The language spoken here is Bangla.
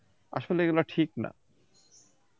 আসলে এগুলো ঠিক না